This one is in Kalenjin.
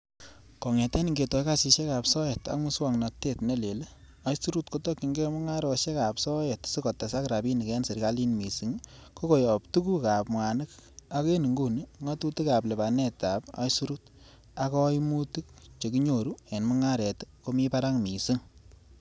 Kongeten ingetoi kasisiek ab soet ak muswognotet ne leel, aisurut kotokyinge mungarosiekab soet sikotesak rabinik en serkalit missing ko koyob tuguk ab mwanik, ak en inguni ngatutik ab lipanetab aisurut ak koimutik chekinyoru en mungaret ko mi barak missing.